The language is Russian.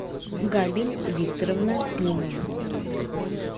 габель викторовна климова